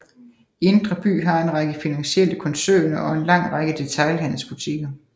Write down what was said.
Indre by har en række finansielle koncerner og en lang række detailhandelsbutikker